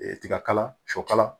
Tiga kala sɔ kala